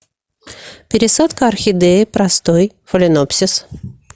пересадка орхидеи простой фаленопсис